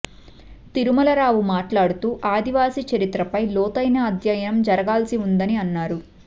తిరుమల రావు మాట్లాడుతూ ఆదివాసీ చరిత్రపై లోతైన అధ్యాయణం జరగాల్సి ఉందని అన్నారు